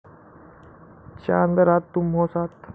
चांद रात तुम हो साथ